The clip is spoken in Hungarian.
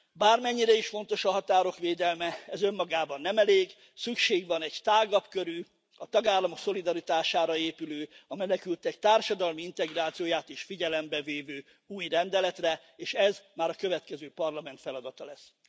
Bármennyire is fontos a határok védelme, ez önmagában nem elég, szükség van egy tágabb körű, a tagállamok szolidaritására épülő, a menekültek társadalmi integrációját is figyelembe vevő új rendeletre, és ez már a következő Parlament feladata lesz.